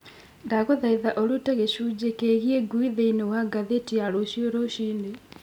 ndagũthaitha ũrute gĩcunjĩ kĩgiĩ ngui thĩinĩ wa ngathĩti ya rũciũ rũcinĩ